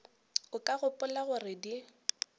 o ka gopola gore di